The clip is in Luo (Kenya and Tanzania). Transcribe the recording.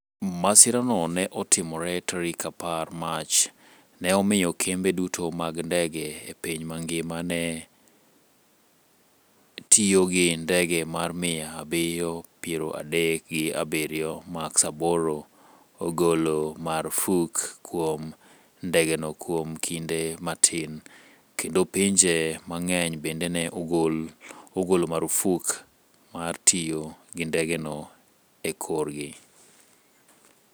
Masirano ma ne otimore tarik apar Mach, ne omiyo kembe duto mag ndege e piny mangima ma ne tiyo gi ndege mar mia abirio pero adek gi abiriyo max aboro ogolo marfuk kuom ndegeno kuom kinde matin, kendo pinje mang'eny bende ne ogolo marfuk mar tiyo gi ndegeno e korgi.